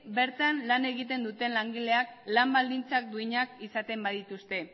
bertan lan egiten duten langileak lan baldintza duinak izaten badituzte